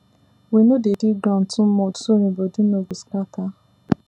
we no dey dig ground too much so e body no go scatter